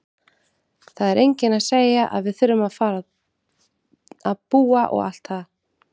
Það er enginn að segja að við þurfum að fara að búa og allt það!